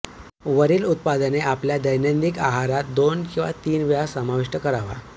वरील उत्पादने आपल्या दैनंदिन आहारात दोन किंवा तीन वेळा समाविष्ट करावा